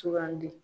Sugandi